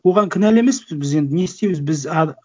оған кінәлі емеспіз біз енді не істейміз біз